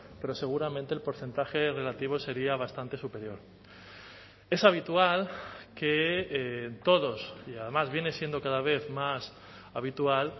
pero seguramente el porcentaje relativo sería bastante superior es habitual que todos y además viene siendo cada vez más habitual